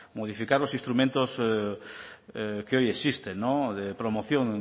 modificar los instrumentos que hoy existen de promoción